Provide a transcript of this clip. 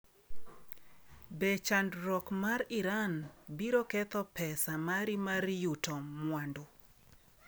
Be chandruok mar Iran biro ketho pesa mari mar yuto mwandu?